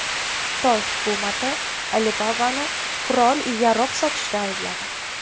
Xitoy hukumati Alibaba’ni qurol-yarog‘ sotishda aybladi.